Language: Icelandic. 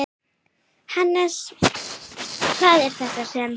Hannes, hvað er þetta sem?